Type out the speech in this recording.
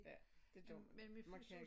Ja det gør man man kan ikke